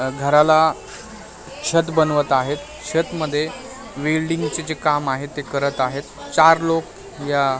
घराला छत बनवत आहेत छत मध्ये वेल्डिंगचे जे काम आहे ते करत आहेत चार लोक या --